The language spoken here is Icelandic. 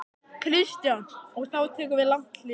Kristján: Og þá tekur við langt hlé?